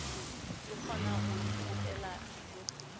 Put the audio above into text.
di kgona go ipopela dijo